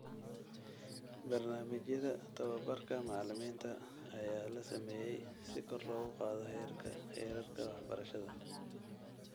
Barnaamijyada tababarka macalimiinta ayaa la sameeyay si kor loogu qaado heerarka waxbarashada.